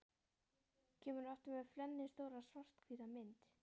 Kemur aftur með flennistóra, svarthvíta mynd.